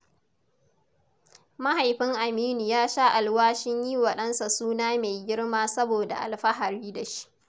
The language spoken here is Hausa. Mahaifin Aminu ya sha alwashin yi wa dansa suna mai girma saboda alfahari da shi.